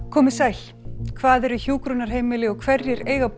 komið sæl hvað eru hjúkrunarheimili og hverjir eiga að